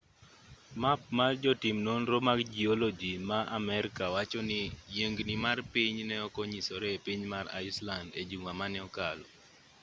map mar jotim nonro mag jioloji ma amerka wacho ni yiengni mar piny ne ok onyisore e piny mar iceland e juma mane okalo